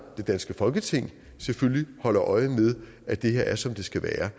det danske folketing selvfølgelig holder øje med at det her er som det skal være